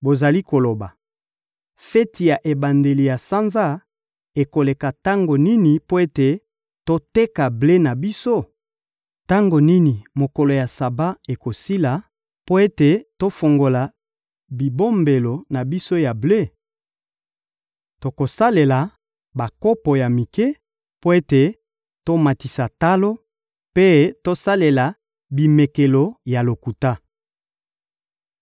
Bozali koloba: «Feti ya ebandeli ya sanza ekoleka tango nini mpo ete toteka ble na biso? Tango nini mokolo ya Saba ekosila mpo ete tofungola bibombelo na biso ya ble?» Tokosalela bakopo ya mike mpo ete tomatisa talo, mpe tokosalela bimekelo ya lokuta.